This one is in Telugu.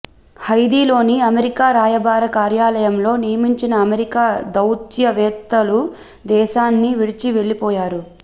హైథీలోని అమెరికా రాయబార కార్యాలయంలో నియమించిన అమెరికా దౌత్యవేత్తలు దేశాన్ని విడిచి వెళ్లిపోయారు